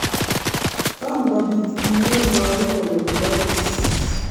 Tom kopit kiy neiboru kole kibaris